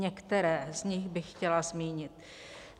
Některé z nich bych chtěla zmínit.